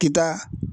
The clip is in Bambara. Kita